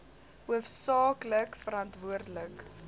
hoofsaak lik verantwoordelik